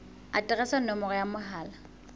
aterese le nomoro ya mohala